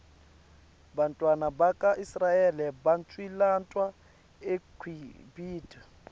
bantfwana baka israel baqcilatwa eqibhitue